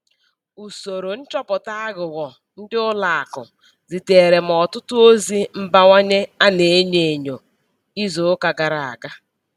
Usoro nchọpụta aghụghọ ndị ụlọ akụ ziteere m ọtụtụ ozi mbanye a na-enyo enyo izu ụka gara aga.